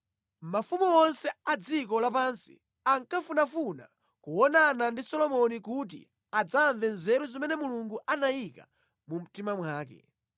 Mafumu onse a dziko lapansi ankafunafuna kuonana ndi Solomoni kuti adzamve nzeru zimene Mulungu anayika mu mtima mwake.